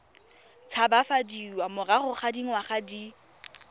tshabafadiwa morago ga dingwaga di